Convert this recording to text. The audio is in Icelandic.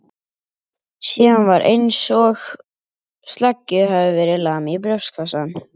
Síðan var einsog sleggju hefði verið lamið í brjóstkassann.